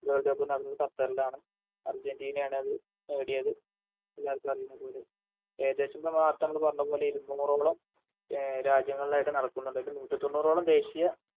World cup നടന്നത് ഖത്തറിലാണ് അർജന്റീനയാണ് അത് നേടിയത് എല്ലാവർക്കുമറിയുന്നപോലെ ഏകദേശം നമ്മ നേരത്തമ്മള് പറഞ്ഞപോലെ ഇരുനൂറോളം എ രാജ്യങ്ങളിലായിട്ട് നടക്കുന്ന അതായത് നൂറ്റിതൊണ്ണൂറോളം ദേശീയ